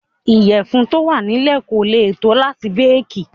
Ìyẹ̀fun tó wà nílé kò lè tó láti béèkì.